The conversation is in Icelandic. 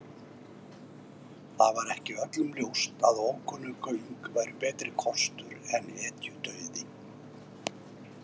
Það var ekki öllum ljóst að ókunnug göng væru betri kostur en hetjudauði.